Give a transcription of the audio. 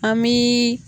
An bi